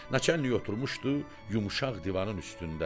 Naçalnik oturmuşdu yumşaq divanın üstündə.